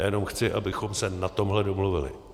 Já jenom chci, abychom se na tomhle domluvili.